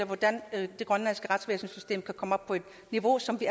hvordan det grønlandske retsvæsenssystem kunne komme op på et niveau som vi